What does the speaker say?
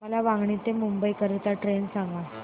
मला वांगणी ते मुंबई करीता ट्रेन सांगा